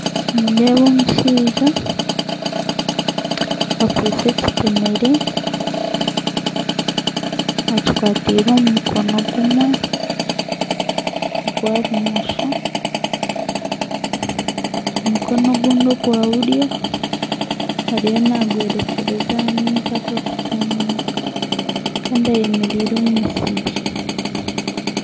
Nindeeba omushaija akwaitse ekitemere akikwatiire omu mukono gumwe ogwa bumosho omukono ogundi ogwa buryo ariyo nagworekyeza aha maizi agakutumuuka Kandi ayemereire omu misiri